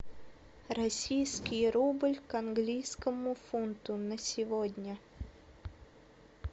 российский рубль к английскому фунту на сегодня